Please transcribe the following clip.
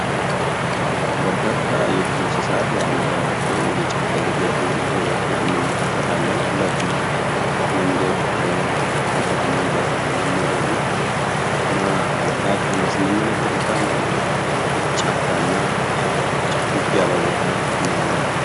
በርካታ የዱር እንስሳት አንድ ላይ ወጥተው በጫካ እየገቡ እየሮጡ እንመለከታ መሬቱ መንገድ ወቶበት እንመለከታለን እና ራቅ ያለ ስንመለከት በጣም ጫካ እና በጣም ጭፍግግ ያለ ቦታ ነው ያለ።